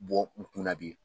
Bɔ n kun na bi